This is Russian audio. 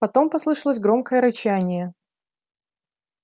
потом послышалось громкое рычание